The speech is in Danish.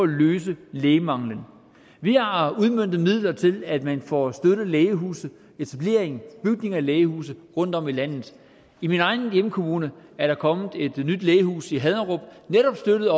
løse lægemanglen vi har udmøntet midler til at man får støttet lægehuse etablering og bygning af lægehuse rundtom i landet i min egen hjemkommune er der kommet et nyt lægehus i haderup netop støttet